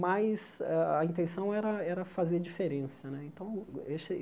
mas a a intenção era era fazer diferença né. Então eu